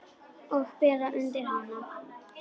Og bera undir hana.